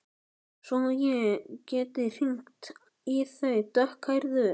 Svo ég geti hringt í þá dökkhærðu.